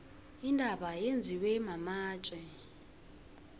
intaba yenziwe matje